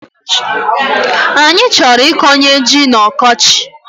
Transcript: Anyi choro ikonye ji n'okochi